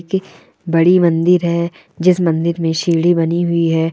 एक बड़ी मंदिर है जिस मन्दिर मे सिरडी बनी हुई है।